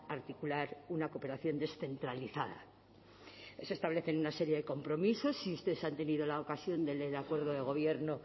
articular una cooperación descentralizada se establecen una serie de compromisos si ustedes han tenido la ocasión de leer el acuerdo de gobierno